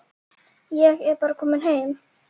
Ég er bara kominn heim.